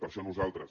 per això nosaltres